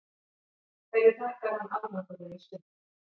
Hverju þakkar hann árangurinn í sumar?